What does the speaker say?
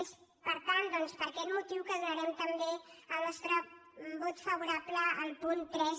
és per tant per aquest motiu que dona·rem també el nostre vot favorable al punt tres